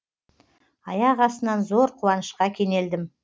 аяқ астынан зор қуанышқа кенелдім